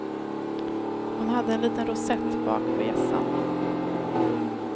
Hon hade en liten rosett bak på hjässan.